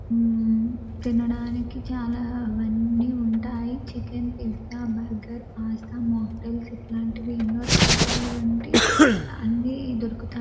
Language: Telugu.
ఉమ్మ్ తినడానికి చాలా అవన్నీ ఉంటాయి chicken pizza burger pasta mocktails ఇట్లాంటివి ఎన్నో రకరకాల వంటి అన్ని దొరుకుత --